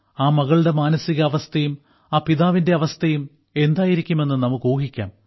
ആ മകളുടെ മാനസികാവസ്ഥയും ആ പിതാവിന്റെ അവസ്ഥയും എന്തായിരിക്കുമെന്ന് നമുക്ക് ഊഹിക്കാം